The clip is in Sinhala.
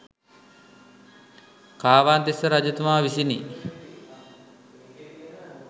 කාවන්තිස්ස රජතුමා විසිනි.